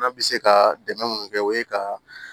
An bɛ se ka dɛmɛ minnu kɛ o ye ka